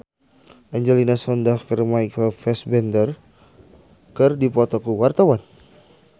Angelina Sondakh jeung Michael Fassbender keur dipoto ku wartawan